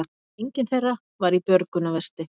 Enginn þeirra var í björgunarvesti